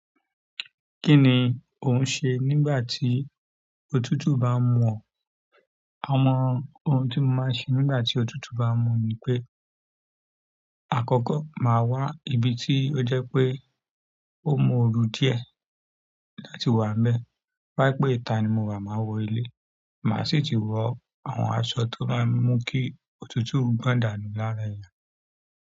Kíni ò ń se nígbà tí òtútù bá ń mú ọ? Àwọn ohun tí mò máa ń ṣe nígbà tí òtútù bá ń mú mi ni pé àkọ́kọ́ màá wá ibi tí ó jẹ́ pé ó mú ooru díẹ̀ láti wá mbẹ. Toba jẹ wípé ìta ni mò wà, màá wọ ilé. Màá sì ti wọ àwọn aṣọ tó máa ń mú kí òtútù gbọ́ndànù lára ẹni.